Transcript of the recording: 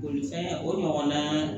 Bolifɛn o ɲɔgɔnna